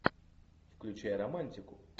включай романтику